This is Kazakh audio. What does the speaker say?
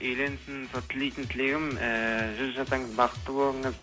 үйленсін сол тілейтін тілегім ыыы жүз жасаңыз бақытты болыңыз